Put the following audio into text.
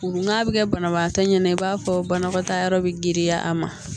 N'a bɛ kɛ banabaatɔ ɲɛna i b'a fɔ banakɔtaa yɔrɔ bɛ girinya a ma